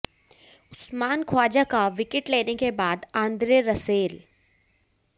उस्मान ख्वाजा का विकेट लेने के बाद आंद्रे रसेल